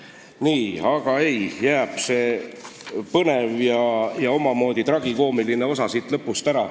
Nii, seega jääb põnev ja omamoodi tragikoomiline osa siit lõpust ära.